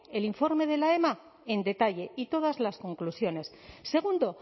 el informe de la ema en detalle y todas las conclusiones segundo